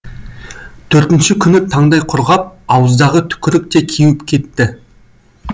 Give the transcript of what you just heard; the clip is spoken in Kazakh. төртінші күні таңдай құрғап ауыздағы түкірік те кеуіп кетті